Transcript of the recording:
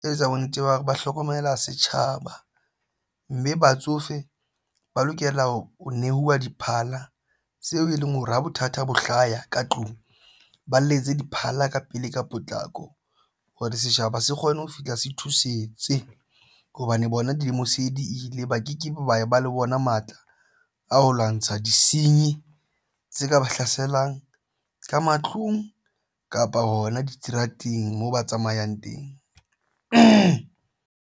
Ketlo etsa bonnete ba ho hlokomela setjhaba mme batsofe ba lokela ho nehuwa diphala seo e leng hore ha bothata bo hlaya ka tlung ba letse diphala ka pele ka potlako hore setjhaba se kgone ho fihla se thusetse hobane bona dilemo se di ile ba ke kebe ba ba le bona matla a ho lwantsha di sinye tse ka ba hlaselang ka matlung kapa hona diterateng moo ba tsamayang teng.